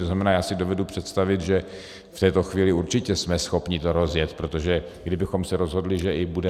To znamená, já si dovedu představit, že v této chvíli určitě jsme schopni to rozjet, protože kdybychom se rozhodli, že i budeme -